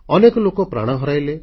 ଅନେକ ଲୋକ ପ୍ରାଣ ହରାଇଲେ